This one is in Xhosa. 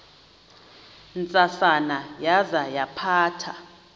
ntsasana yaza yaphatha